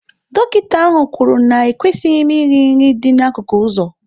Dọkịta ahụ kwuru na ekwesịghị m iri nri dị n'akụkụ ụzọ.